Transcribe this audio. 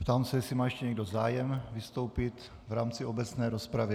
Ptám se, jestli má ještě někdo zájem vystoupit v rámci obecné rozpravy.